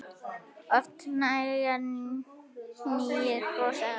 Oft nægði hlýja brosið hans.